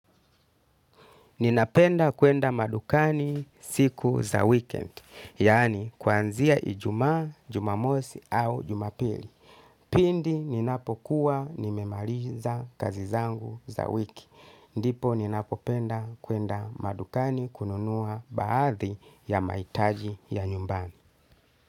Ninapenda kuenda madukani siku za weekend, yaani kwanzia ijuma, jumamosi au jumapili. Pindi ninapokuwa nimemaliza kazi zangu za wiki. Ndipo ninapopenda kuenda madukani kununua baadhi ya maitaji ya nyumbani.